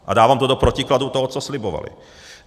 A dávám to do protikladu toho, co slibovali.